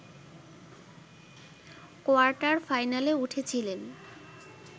কোয়ার্টার-ফাইনালে উঠেছিলেন